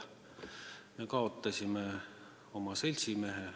Me oleme kaotanud oma seltsimehe.